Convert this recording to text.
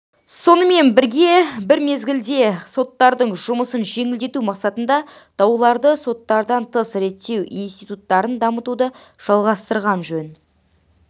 сонымен бір мезгілде соттардың жұмысын жеңілдету мақсатында дауларды соттардан тыс реттеу институттарын дамытуды жалғастырған жөн